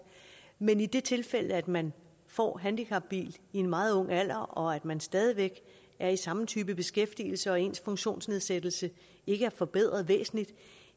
men i det tilfælde at man får handicapbil i en meget ung alder og man stadig væk er i samme type beskæftigelse og ens funktionsnedsættelse ikke er forbedret væsentligt